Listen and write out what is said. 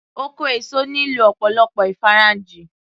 Oko èso nílò ọ̀pọ̀lọpọ̀ ìfarajìn